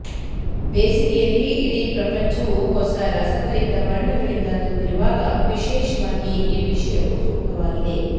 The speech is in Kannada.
ಬೇಸಿಗೆಯಲ್ಲಿ ಇಡೀ ಪ್ರಪಂಚವು ಹೊಸ ರಸಭರಿತ ಬಣ್ಣಗಳಿಂದ ತುಂಬಿರುವಾಗ ವಿಶೇಷವಾಗಿ ಈ ವಿಷಯವು ಸೂಕ್ತವಾಗಿದೆ